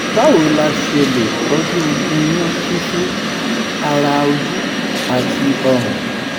báwo la ṣe lè toju nyun sisu ara ojú àti ọrùn?